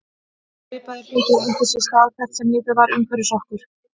Svipaðir hlutir áttu sér stað hvert sem litið var umhverfis okkur.